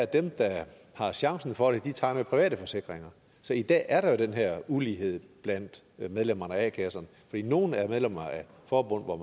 dem der har chancen for det tegner private forsikringer så i dag er der jo den her ulighed blandt medlemmerne af a kasserne fordi nogle er medlemmer af forbund hvor